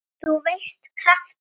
þú veist- krafta.